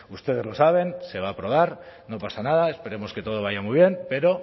ustedes lo saben se va a aprobar no pasa nada esperemos que todo vaya muy bien pero